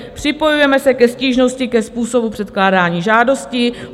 Připojujeme se ke stížnosti ke způsobu předkládání žádostí.